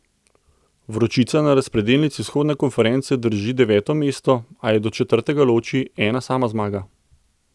Vročica na razpredelnici vzhodne konference drži deveto mesto, a jo do četrtega loči ena sama zmaga.